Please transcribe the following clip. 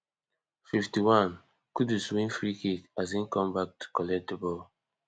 fifty-onekudus win freekick as im come back to collect di ball